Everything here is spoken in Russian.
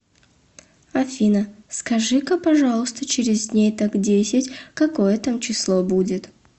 афина скажи ка пожалуйста через дней так десять какое там число будет